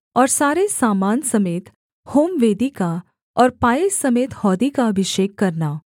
और सारे सामान समेत होमवेदी का और पाए समेत हौदी का अभिषेक करना